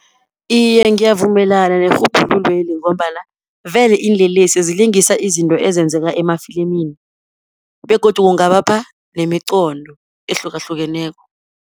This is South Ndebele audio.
Iye ngiyavumelana nerhubhululo leli, ngombana vele iinlelesi zilingisa izinto ezenzeka emafilimini, begodu kungabapha nemiqondo ehlukahlukeneko.